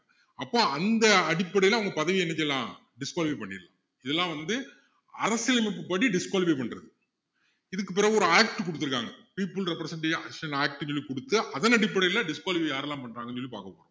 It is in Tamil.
அப்போ அந்த அடிப்படையில அவங்க பதவியை என்ன செய்யலாம் disqualify பண்ணிடலாம் இதெல்லாம் வந்து அரசியலமைப்பு படி disqualify பண்றது இதுக்கு பிறகு ஒரு act குடுத்துருக்காங்க people represent action act ன்னு சொல்லி குடுத்து அதனடிப்படையில் disqualify யாரெல்லாம் பண்றாங்கன்னு சொல்லி பாக்க போறோம்